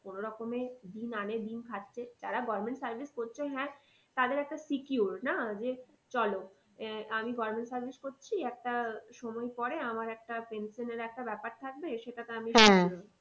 কোনোরকমে দিন আনে দিন খাচ্ছে যারা government service করছে হ্যাঁ তাদের একটা secure না যে চলো আহ আমি government service করছি একটা সময় পরে আমার একটা pension এর একটা ব্যাপার থাকবে সেটাতে আমি